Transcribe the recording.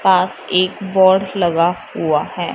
पास एक बोर्ड लगा हुआ है।